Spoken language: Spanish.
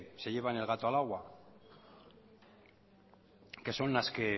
se llevan el gato al agua que son las que